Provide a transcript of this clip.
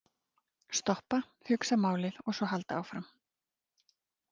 Stoppa, hugsa málið og svo halda áfram.